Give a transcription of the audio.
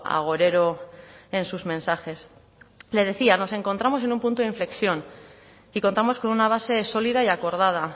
agorero en sus mensajes le decía nos encontramos en un punto de inflexión y contamos con una base sólida y acordada